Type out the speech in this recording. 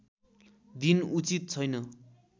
दिन उचित छैन